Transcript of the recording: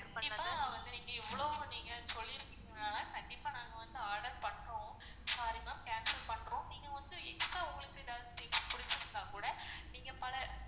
கண்டிப்பா வந்து நீங்க இவ்ளோ நீங்க சொல்லிருக்கீங்கனால கண்டிப்பா நாங்க வந்து order பண்றோம் sorry ma'am cancel பண்றோம் நீங்க வந்து extra உங்களுக்கு எதாவது புடிச்சிருந்தா கூட நீங்க பல